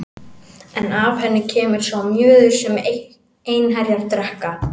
En af henni kemur sá mjöður sem einherjar drekka.